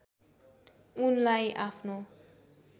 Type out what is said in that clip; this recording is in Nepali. उनलाई आफ्नो